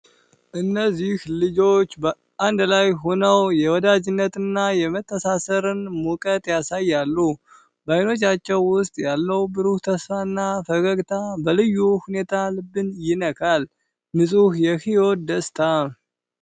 እነዚህ ቆንጆ ልጆች በአንድ ላይ ሆነው የወዳጅነትንና የመተሳሰርን ሙቀት ያሳያሉ። በዓይኖቻቸው ውስጥ ያለው ብሩህ ተስፋና ፈገግታ በልዩ ሁኔታ ልብን ይነካል። ንጹህ የሕይወት ደስታ!